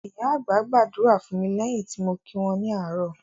Ìyá àgbà gba ádùrá fún mi lẹ́yìn tí mo kí wọn ní àárò